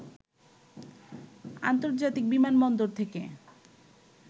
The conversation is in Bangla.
আন্তর্জাতিক বিমান বন্দর থেকে